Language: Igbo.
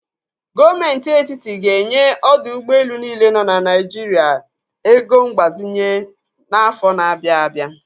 Gọọmenti Etitit ga enye ọdọ ụgbọelu niile nọ na Naijiria ego mgbazenye n'afọ na-abịa abịa.